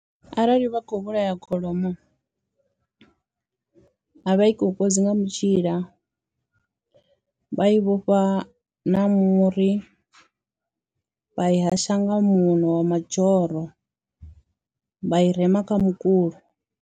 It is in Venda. Arali vha khou vhulaya kholomo a vha i kokodzi nga mutshila, vha i vhofha na muri vha i hasha nga muṋo wa mazhoro vha i rema kha mukulo.